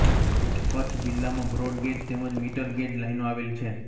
કચ્છ જિલ્લામાં બ્રોડગેજ તેમજ metre gauge લાઇનો આવેલ છે